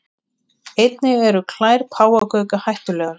Einnig eru klær páfagauka hættulegar.